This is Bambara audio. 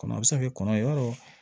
Kɔnɔ a bɛ se ka kɛ kɔnɔ ye yɔrɔ